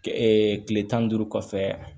kile tan ni duuru kɔfɛ